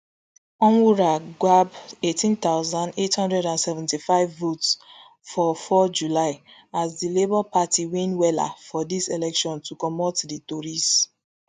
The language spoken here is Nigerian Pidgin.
onwurah gbab eighteen thousand, eight hundred and seventy-five votes on four july as di labour party win wella for dis election to comot di tories